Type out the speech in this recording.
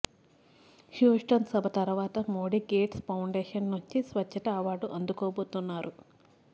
Houston సభ తరువాత Modi Gates Foundation నుంచి స్వచ్ఛతా అవార్డు అందుకోబోతున్నారు